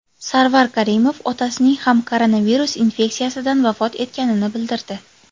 Sarvar Karimov otasining ham koronavirus infeksiyasidan vafot etganini bildirdi .